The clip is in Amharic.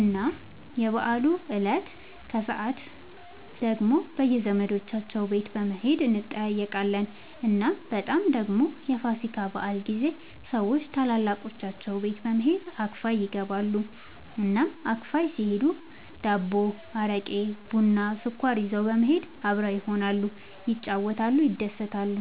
እና የበዓሉ እለት ከሰዓት ደግሞ በየዘመዶቻቸው ቤት በመሄድ እንጠያየቃለን። እናም በጣም ደግሞ የፋሲካ በዓል ጊዜ ሰዎች ታላላቆቻቸው ቤት በመሄድ አክፋይ ይገባሉ። እናም አክፋይ ሲሄዱ ዳቦ፣ አረቄ፣ ቡና፣ ስኳር ይዘው በመሄድ አብረው ይሆናሉ፣ ይጫወታሉ፣ ይደሰታሉ።